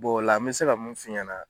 o la me se ka mun f'i ɲɛna